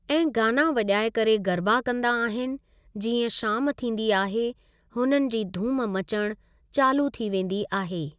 ऐं गाना वॼाए करे गरबा कंदा आहिनि जीअं शाम थींदी आहे हुननि जी धूम मचण चालू थी वेंदी आहे।